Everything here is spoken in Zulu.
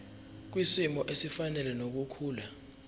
kwisimo esifanele nokukhula